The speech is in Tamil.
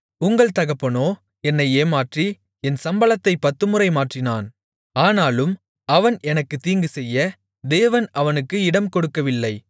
உங்கள் தகப்பனோ என்னை ஏமாற்றி என் சம்பளத்தைப் பத்துமுறை மாற்றினான் ஆனாலும் அவன் எனக்குத் தீங்குசெய்ய தேவன் அவனுக்கு இடம்கொடுக்கவில்லை